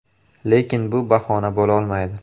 Lekin bu bahona bo‘lolmaydi.